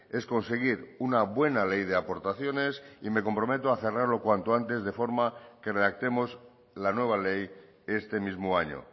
es conseguir una buena ley de aportaciones y me comprometo a cerrarlo cuanto antes de forma que redactemos la nueva ley este mismo año